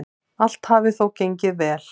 Allt hafi þó gengið vel.